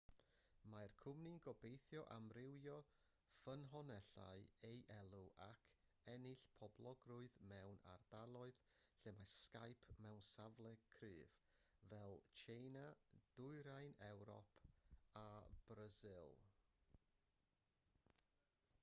mae'r cwmni'n gobeithio amrywio ffynonellau ei elw ac ennill poblogrwydd mewn ardaloedd lle mae skype mewn safle cryf fel tsieina dwyrain ewrop a brasil